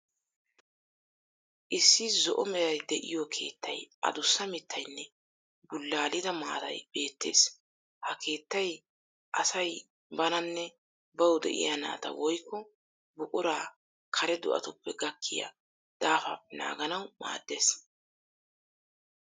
Issi zo"o meray de'iyo keettay, adussa mittayinne bullaalida maatay beettees. Ha keettay asay bananne bawu de'iya naata woyikko buquraa kare do'atuppe gakkiya daafaappe naaganawu maaddees.